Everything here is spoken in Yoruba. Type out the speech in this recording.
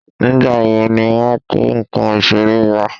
Nígbà wo ni wọ́n kó nǹkan iṣere wa?